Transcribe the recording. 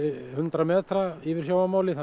hundrað metra yfir sjávarmáli þannig